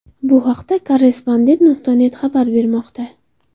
Bu haqda Korrespondent.net xabar bermoqda .